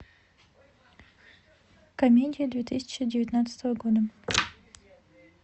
комедия две тысячи девятнадцатого года